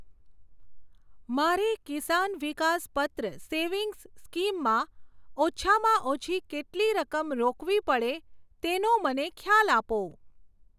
મારે Kisan Vikas Patra savings scheme માં ઓછામાં ઓછી કેટલી રકમ રોકવી પડે તેનો મને ખ્યાલ આપો.